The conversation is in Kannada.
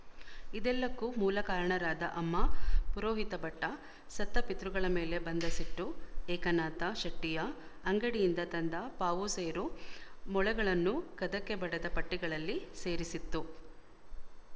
ಇದೆಲ್ಲಕ್ಕೂ ಮೂಲ ಕಾರಣರಾದ ಅಮ್ಮ ಪುರೋಹಿತಭಟ್ಟ ಸತ್ತ ಪಿತೃಗಳ ಮೇಲೆ ಬಂದ ಸಿಟ್ಟು ಏಕನಾಥ ಶೆಟ್ಟಿಯ ಅಂಗಡಿಯಿಂದ ತಂದ ಪಾವುಸೇರು ಮೊಳೆಗಳನ್ನೂ ಕದಕ್ಕೆ ಬಡೆದ ಪಟ್ಟಿಗಳಲ್ಲಿ ಸೇರಿಸಿತ್ತು